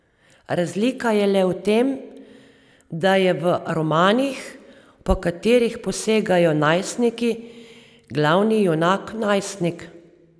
Razlika je le v tem, da je v romanih, po katerih posegajo najstniki, glavni junak najstnik.